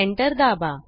enter दाबा